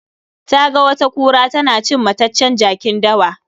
Taga wata kura tana cin mataccen jakin dawa.